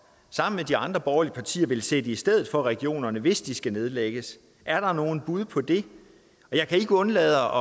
sammen med de andre borgerlige partier vil sætte i stedet for regionerne hvis de skal nedlægges er der nogen bud på det jeg kan ikke undlade